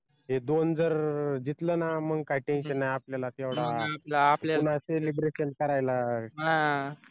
ते दोन जर जितलं ना मग काय tension नाही आपल्याला आपल्याला celebration करायला